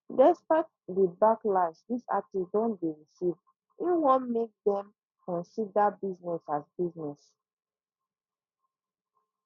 despite di backlash dis artiste don dey receive im wan mek dem consider business as business